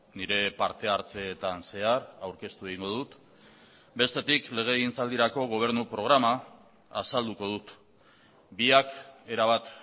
nire parte hartzeetan zehar aurkeztu egingo dut bestetik legegintzaldirako gobernu programa azalduko dut biak erabat